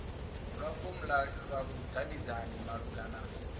lwa fomla lwa vhudavhidzani malugana